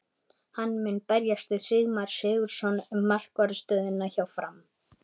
Hann mun berjast við Sigmar Sigurðarson um markvarðar stöðuna hjá Fram.